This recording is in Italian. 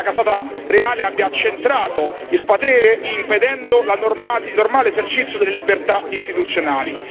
il fatto che la casata reale abbia accentrato il potere impedendo il normale esercizio delle libertà istituzionali.